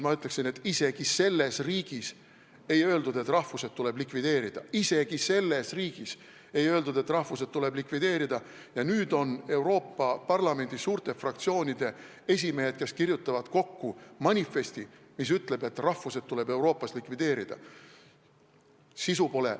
Ma ütleksin, et isegi selles riigis ei öeldud, et rahvused tuleb likvideerida, aga nüüd kirjutavad Euroopa Parlamendi suurte fraktsioonide esimehed kokku manifesti, mis ütleb, et rahvused tuleb Euroopas likvideerida.